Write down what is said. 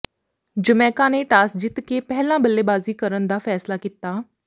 Jamaica ਨੇ toss ਜਿੱਤ ਕੇ ਪਹਿਲਾਂ ਬੱਲੇਬਾਜ਼ੀ ਕਰਨ ਦਾ ਫੈਸਲਾ ਕੀਤਾ